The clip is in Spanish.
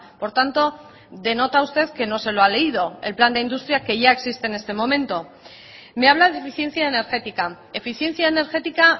por tanto denota usted que no se lo ha leído el plan de industria que ya existe en este momento me habla de eficiencia energética eficiencia energética